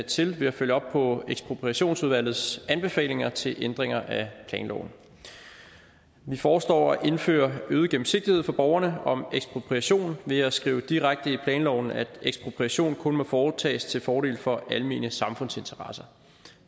til ved at følge op på ekspropriationsudvalgets anbefalinger til ændringer af planloven vi foreslår at indføre øget gennemsigtighed for borgerne om ekspropriation ved at skrive direkte i planloven at ekspropriation kun må foretages til fordel for almene samfundsinteresser